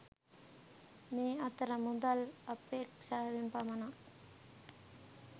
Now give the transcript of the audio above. මේ අතර මුදල් අපේක්‍ෂාවෙන් පමණක්